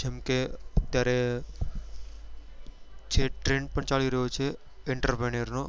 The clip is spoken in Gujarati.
જેમ કે અત્યારે જે trend પણ ચાલી રહ્યો છે entrepreneur નો